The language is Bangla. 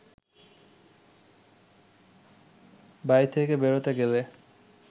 বাড়ি থেকে বেরোতে গেলে